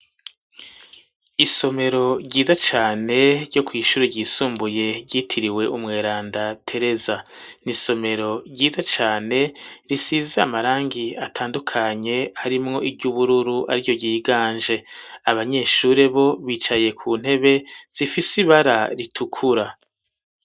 Isomero ryiza cane ryo kw'ishure ryisumbuye ryitiriwe umweranda tereza, n’isomero ryiza cane risize amarangi atandukanye ari mwo iry'ubururu ari ryo ryiganje abanyeshuri bo bicaye ku ntebe zifise ibara ritukura.